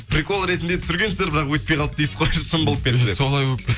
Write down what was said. прикол ретінде түсіргенсіздер бірақ өтпей қалды дейсіз ғой шын болып кетті деп солай болып